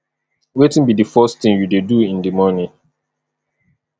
wetin be di first thing you dey do in di morning